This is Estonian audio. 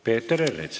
Peeter Ernits.